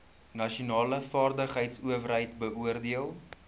nasionale vaardigheidsowerheid beoordeel